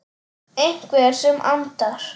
Einhver sem andar.